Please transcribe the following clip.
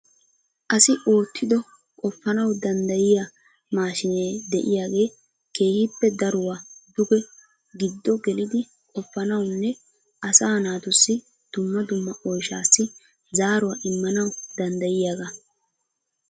asi oottido qopaanaw danddayyiya maashinee de'iyaagee keehippe daruwa duge giddo gelidi qopanawunne asa naatussi dumma dumma oyshshassi zaaruwa immanaw danddayiyaaga.